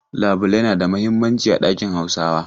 Labulai na da muhimmanci a dakin Hausawa.